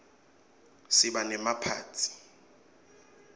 siba nemaphathi